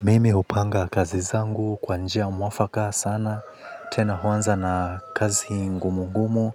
Mimi upanga kazi zangu kwa njia mwafaka sana, tena huanza na kazi ngumu ngumu,